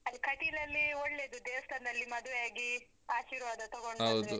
ಅಲ್ಲಿ ಕಟೀಲಲ್ಲೀ ಒಳ್ಳೆದು ದೇವಸ್ಥಾನದಲ್ಲಿ ಮದ್ವೆ ಆಗಿ ಆಶೀರ್ವಾದ ತೊಗೊಂಡ್ .